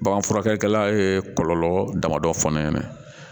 Bagan furakɛlikɛla ye kɔlɔlɔ damadɔ fɔlɔ ye